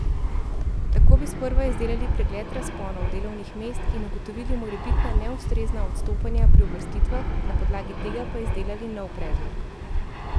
Tako bi sprva izdelali pregled razponov delovnih mest in ugotovili morebitna neustrezna odstopanja pri uvrstitvah, na podlagi tega pa izdelali nov predlog.